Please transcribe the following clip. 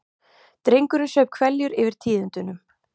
Drengurinn saup hveljur yfir tíðindunum.